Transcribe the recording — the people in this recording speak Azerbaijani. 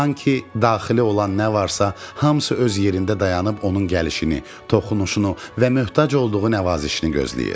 Sanki daxili olan nə varsa hamısı öz yerində dayanıb onun gəlişini, toxunuşunu və möhtac olduğu nəvazişini gözləyir.